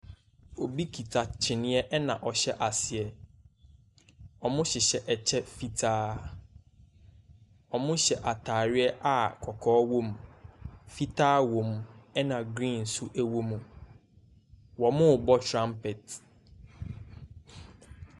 Obi kita kyineɛ na ɔhyɛ aseɛ, wɔhyehyɛ kyɛ fitaa, wɔhyɛ ataare a kɔkɔɔ wɔm, fitaa wɔm na green nso wɔm. Wɔrebɔ trumpet.